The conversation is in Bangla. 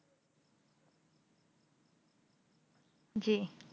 জি